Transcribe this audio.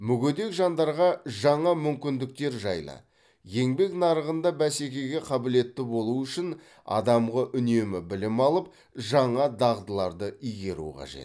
мүгедек жандарға жаңа мүмкіндіктер жайлы еңбек нарығында бәсекеге қабілетті болу үшін адамға үнемі білім алып жаңа дағдыларды игеру қажет